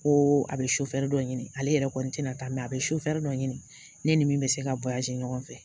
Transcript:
Ko a bɛ dɔ ɲini ale yɛrɛ kɔni tɛna taa a bɛ dɔ ɲini ne ni min bɛ se ka ɲɔgɔn fɛ